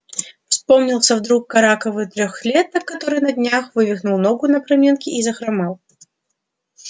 вспомнился вдруг караковый трёхлеток который на днях вывихнул ногу на проминке и захромал